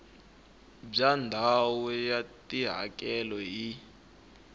bya ndhawu ya tihakelo hi